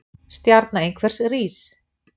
Stjarna einhvers rís